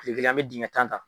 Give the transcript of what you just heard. Kile kelen an be jigin ka ta.